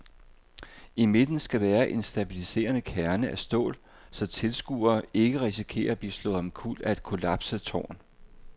I midten skal være en stabiliserende kerne af stål, så tilskuere ikke risikerer at blive slået omkuld af et kollapset tårn.